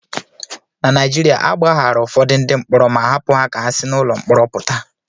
Na Naijiria, a gbaghaara ụfọdụ ndị mkpọrọ ma hapụ ha ka ha si n'ụlọ mkpọrọ pụta